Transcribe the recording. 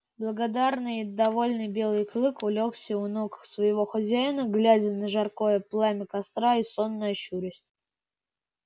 благодарный и довольный белый клык улёгся у ног своего хозяина глядя на жаркое пламя костра и сонно щурясь